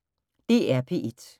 DR P1